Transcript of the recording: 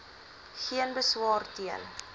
geen beswaar teen